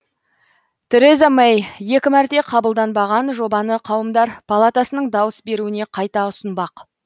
тереза мэй екі мәрте қабылданбаған жобаны қауымдар палатасының дауыс беруіне қайта ұсынбақ